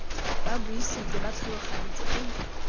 ba buisitse ba tlhalogantse ke